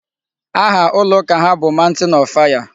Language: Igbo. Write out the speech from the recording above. Aha ụlọ ụka ha bụ Mountain of fire.